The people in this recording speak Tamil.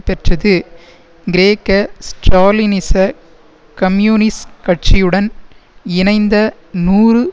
பெற்றது கிரேக்க ஸ்ட்ராலினிச கம்யூனிஸ் கட்சியுடன் இணைந்த நூறு